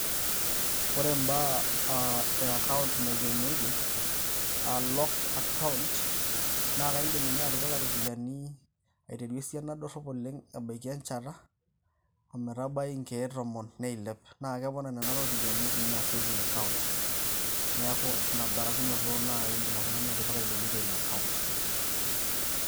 Ore ibaa aa ekaont naikenieki aa locked account naa aidim ninye atipika iropiyiani aiteru esiana dorrop oleng' ebaki enchata ometabai inkiek tomon neilep naa kepona ninye Nena ropiyiani etii Ina saving akaont neaku Ina barakinoto naaji eedip oltung'ani atipika ebolito Ina akaont.